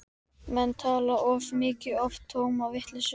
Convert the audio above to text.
Menn tala of mikið og oftast tóma vitleysu.